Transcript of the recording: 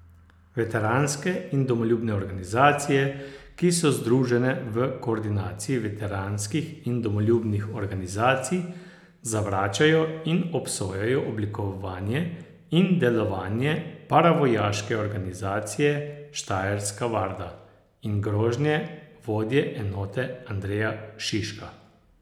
Veteranske in domoljubne organizacije, ki so združene v koordinaciji veteranskih in domoljubnih organizacij, zavračajo in obsojajo oblikovanje in delovanje paravojaške organizacije Štajerska varda in grožnje vodje enote Andreja Šiška.